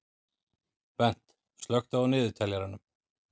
Bent, slökktu á niðurteljaranum.